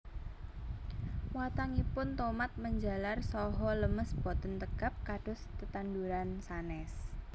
Watangipun tomat menjalar saha lemes boten tegap kados tetanduran sanés